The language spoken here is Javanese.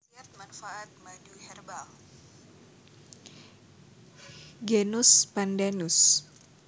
Genus Pandanus